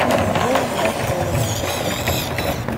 бой новоселова